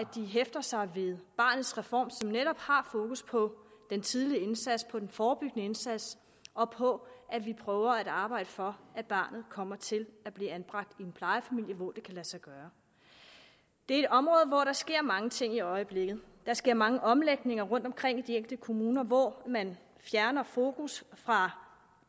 hæfter sig ved barnets reform som netop har fokus på den tidligere indsats på den forebyggende indsats og på at vi prøver at arbejde for at barnet kommer til at blive anbragt i en plejefamilie hvor det kan lade sig gøre det er et område hvor der sker mange ting i øjeblikket der sker mange omlægninger rundtomkring i de enkelte kommuner hvor man fjerner fokus fra